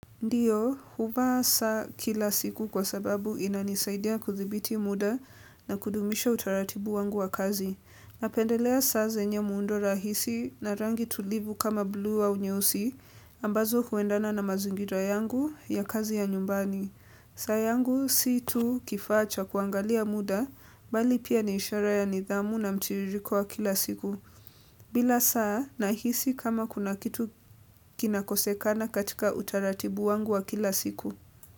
Ndiyo, huva saa kila siku kwa sababu inanisaidia kuthibiti muda na kudumisha utaratibu wangu wa kazi. Napendelea saa zenye muundo rahisi na rangi tulivu kama blu wa au nyeusi ambazo huendana na mazingira yangu ya kazi ya nyumbani. Saa yangu si tu kifa cha kuangalia muda, bali pia niishara ya nidhamu na mtiririko wa kila siku. Bila saa nahisi kama kuna kitu kinakosekana katika utaratibu wangu wa kila siku.